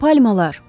Palmalar.